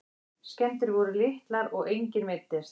Skemmdir voru litlar og enginn meiddist